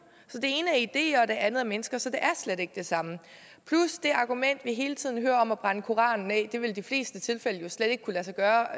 så det ene er ideer og det andet er mennesker så det er slet ikke det samme plus det argument vi hele tiden hører om at brænde koranen af det vil i de fleste tilfælde jo slet ikke kunne lade sig gøre